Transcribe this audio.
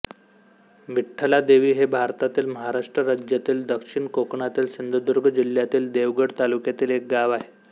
विठ्ठलादेवी हे भारतातील महाराष्ट्र राज्यातील दक्षिण कोकणातील सिंधुदुर्ग जिल्ह्यातील देवगड तालुक्यातील एक गाव आहे